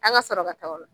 An ka sɔrɔ ka taga o la